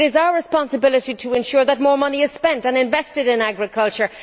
it is our responsibility to ensure that more money is spent and invested in agriculture.